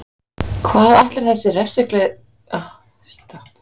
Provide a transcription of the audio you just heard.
Hvað ætlar þessi refsiglaði formaður að gera nú? spyr Kristinn.